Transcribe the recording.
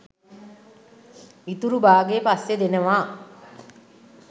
ඉතුරු බාගේ පස්සෙ දෙනවා